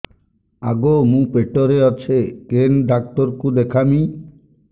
ଆଗୋ ମୁଁ ପେଟରେ ଅଛେ କେନ୍ ଡାକ୍ତର କୁ ଦେଖାମି